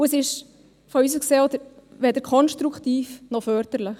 Es ist aus unserer Sicht weder konstruktiv noch förderlich.